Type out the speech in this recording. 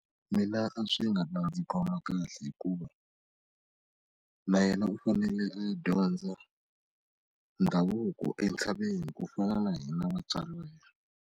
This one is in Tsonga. Mina a swi nga ta ndzi khoma kahle hikuva na yena u fanele a dyondza ndhavuko entshaveni ku fana na hina vatswari va yena.